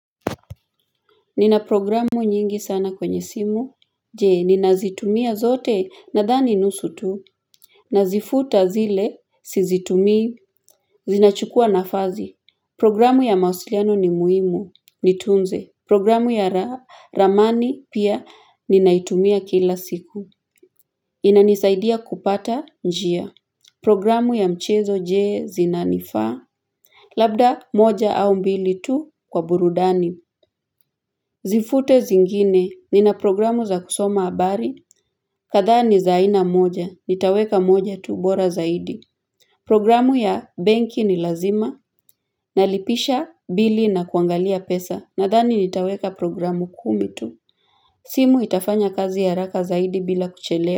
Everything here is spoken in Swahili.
Nina programu nyingi sana kwenye simu. Je, ninazitumia zote nadhani nusu tu. Nazifuta zile, sizitumii, zinachukua nafasi. Programu ya mawasiliano ni muhimu, nitunze. Programu ya ramani pia ninaitumia kila siku. Inanisaidia kupata njia. Programu ya mchezo jee zinanifaa. Labda moja au mbili tu kwa burudani. Zifute zingine ni na programu za kusoma habari kadhaa ni za aina moja, nitaweka moja tu, bora zaidi Programu ya benki ni lazima Nalipisha bili na kuangalia pesa Nadhani nitaweka programu kumi tu simu itafanya kazi haraka zaidi bila kuchelewa.